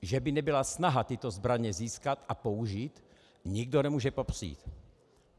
Že by nebyla snaha tyto zbraně získat a použít, nikdo nemůže popřít.